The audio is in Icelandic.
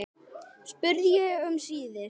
spurði ég um síðir.